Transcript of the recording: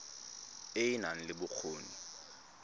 e e nang le bokgoni